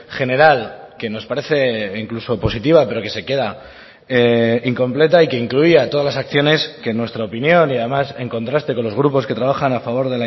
general que nos parece incluso positiva pero que se queda incompleta y que incluía todas las acciones que en nuestra opinión y además en contraste con los grupos que trabajan a favor